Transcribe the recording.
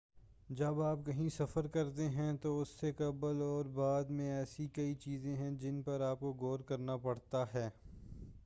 جب آپ کہیں سفر کرتے ہیں تو اس سے قبل اور بعد میں ایسی کئی چیزیں ہیں جن پر آپکو غور کرنا پڑتا ہے